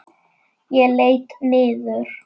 Ég leit niður.